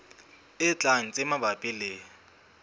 e tlang tse mabapi le